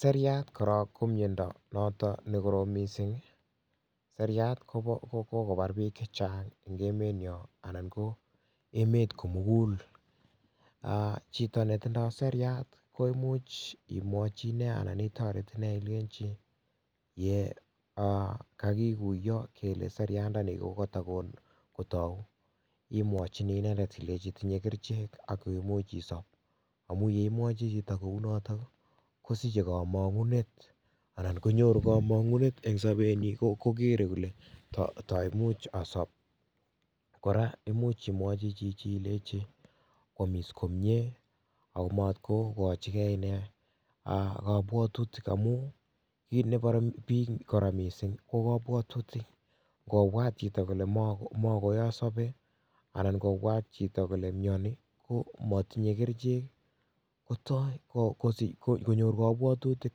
Seriat korok ko miondo noto nekorom mising seriat kokokobar piik chechang eng emenyo anan ko emet komugul chito netindoi seriat komuch imwochi inee anan itoret inee ilechi yo kakikuyo kele seriandani kokatikotou imwochini inendet ilechi tinyei kerchek oko imuch isop amun yeimwocho chito kounito kosichei kamongunet anan konyoru kamong'unet eng sobenyii kokere kole taimuch asop kora imuch imwochi chichi ilechi koomis komyee akomatkokochigei ine kapwatutik amu kit neporei piik kora mising kokopwotutik ngopwat chito kole makoyasope anan ngopwat chito kole myoni komatinyie kerchek kotoi konyor kapwatutik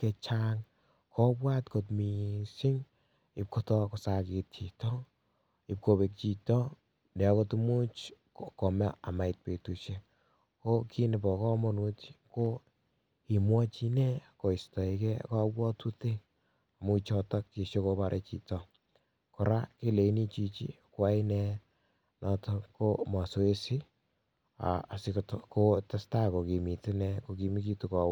chechang kopwat kot mising ipkotoi kosakit chito ipkopek chito akot imuch kome chito komait petushiek ko kit nepo komonut ko imwochi inee koistoekei kopwotutik amun choto chesikoporei chito kora ileini chichi koyai one mazoezi asikotestai kokimot one kokimikitu kowek.